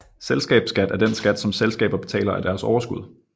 Selskabsskat er den skat som selskaber betaler af deres overskud